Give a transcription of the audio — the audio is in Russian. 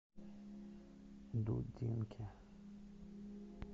дудинке